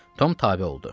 Tom tabe oldu.